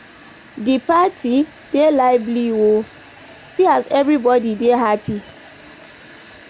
Di party dey lively o, see as everybodi dey happy.